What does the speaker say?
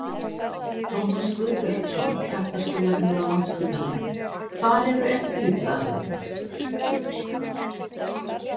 Tómas Guðbjartsson, hjartaskurðlæknir á Landspítalanum: Hvar eru eftirlitsaðilarnir?